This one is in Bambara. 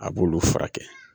A b'olu fura kɛ.